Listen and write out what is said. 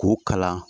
K'u kalan